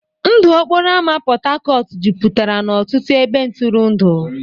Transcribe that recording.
Ndụ okporo ámá Port Harcourt jupụtara n'ọtụtụ ebe ntụrụndụ.